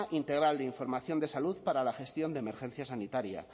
integral de información de salud para la gestión de emergencia sanitaria